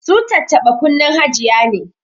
Su tattaba kunnen hajiya ne